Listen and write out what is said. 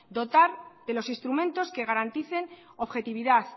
dotar de los instrumentos que garanticen objetividad